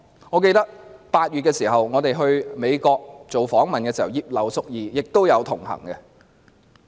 我記得我們8月到美國做訪問時，葉劉淑儀議員也有同行。